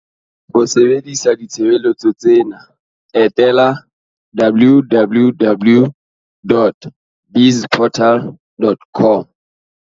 Ho sebedisa ditshebeletso tsena, etela www.bizportal.